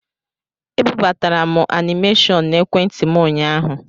E bubatara m anịmeshọn na ekwentị m ụnyaahụ.